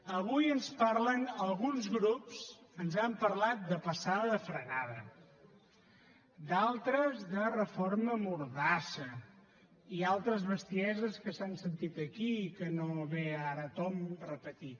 avui ens parlen alguns grups ens han parlat de passada de frenada d’altres de reforma mordassa i altres bestieses que s’han sentit aquí i que no ve ara a tomb repetir